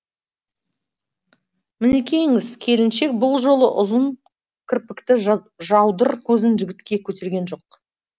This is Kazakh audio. мінекейіңіз келіншек бұл жолы ұзын кірпікті жаудыр көзін жігітке көтерген жоқ